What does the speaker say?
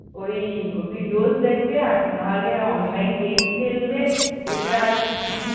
ওই ভিডিওস দেখবে আর না হলে online game খেলবে এছাড়া আর কিছুই